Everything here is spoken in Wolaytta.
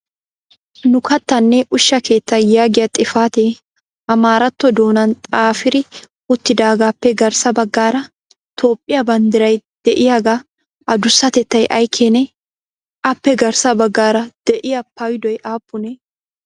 Nu kattanne ushsha keettaa yaagiya xifatee Amaaratto doonan xaaferi uttidaagappe garssa baggaara Toophiyaa banddiray de'iyaaga addussatettay ay keene? Appe garssa baggara de'iya payddoy aappune?